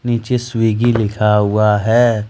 पीछे स्विग्गी लिखा हुआ है।